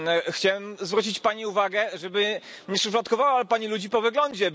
Chciałem zwrócić pani uwagę, żeby nie szufladkowała pani ludzi po wyglądzie.